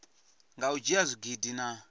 nga u dzhia zwigidi na